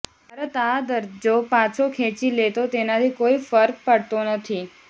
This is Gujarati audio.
ભારત આ દરજ્જો પાછો ખેંચી લે તો તેનાથી કોઈ ફર્ક પડતો નથી